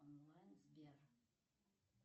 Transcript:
онлайн сбер